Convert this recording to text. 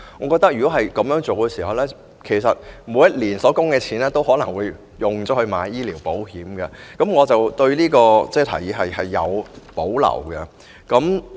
果真如此，恐怕每年的供款都會用來購買醫療保險，我因此對這項建議有保留。